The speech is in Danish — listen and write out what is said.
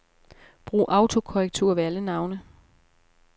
Brug autokorrektur ved alle navne.